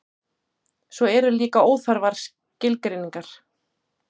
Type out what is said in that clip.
svo eru líka óþarfar skilgreiningar